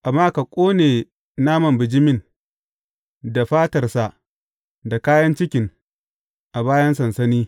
Amma ka ƙone naman bijimin, da fatarsa, da kayan cikin, a bayan sansani.